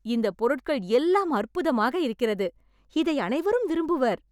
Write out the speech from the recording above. இந்த பொருட்கள் எல்லாம் அற்புதமாக இருக்கிறது. இதை அனைவரும் விரும்புவர்.